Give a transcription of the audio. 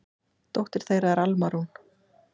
Dóttir þeirra er Alma Rún.